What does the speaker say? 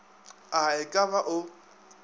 a e ka ba o